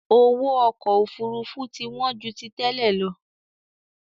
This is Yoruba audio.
Owó ọkọ Òfurufú ti wọn ju tí tẹ́lẹ̀ lọ